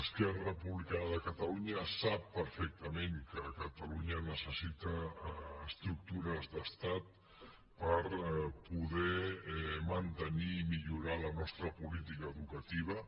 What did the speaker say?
esquerra republicana de catalunya sap perfectament que catalunya necessita estructures d’estat per poder mantenir i millorar la nostra política educativa